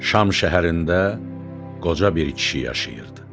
Şam şəhərində qoca bir kişi yaşayırdı.